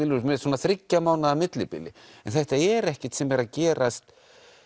með svona þriggja mánaða millibili en þetta er ekkert sem er að gerast